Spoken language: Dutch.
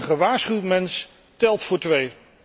Een gewaarschuwd mens telt voor twee.